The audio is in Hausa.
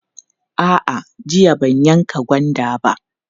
A'a, jiya ban yanka gwanda ba.